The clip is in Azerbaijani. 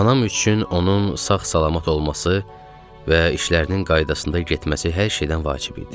Anam üçün onun sağ-salamat olması və işlərinin qaydasında getməsi hər şeydən vacib idi.